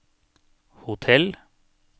hotell